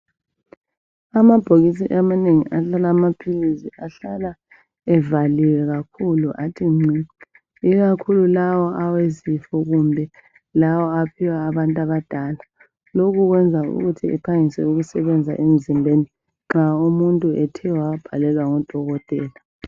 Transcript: Amabhokisi amanengi ahlala amaphilisi ahlala evaliwe kakhulu athi ngci, ikakhulu lawo awezifo kumbe lawa aphiwa abantu abadala. Lokhu kwenza ukuthi aphangise ukusebenza emzimbeni nxa umuntu ethe wawabhalelwa ngudokotela.